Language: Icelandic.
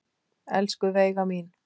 Elsku Veiga mín.